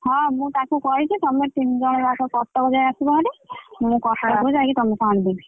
ହଁ ମୁଁ ତାକୁ କହିଛି ତମେ ତିନଜଣ ଯାକ କଟକ ଯାଏ ଆସିବ ଭାରି ମୁଁ କଟକ ରୁ ଯାଇଁକି ତଆମକୁ ଆଣିଦେବି।